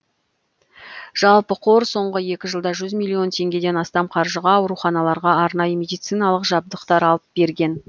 жалпы қор соңғы екі жылда жүз миллион теңгеден астам қаржыға ауруханаларға арнайы медициналық жабдықтар алып берген